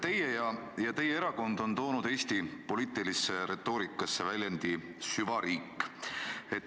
Teie ja teie erakond olete toonud Eesti poliitilisse retoorikasse sõna "süvariik".